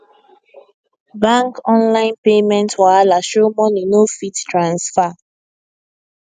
bank online payment wahala show money no fit transfer